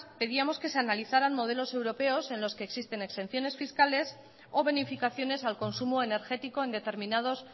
pedíamos que se analizaran modelos europeos en los que existen excepciones fiscales o bonificaciones al consumo energético en determinados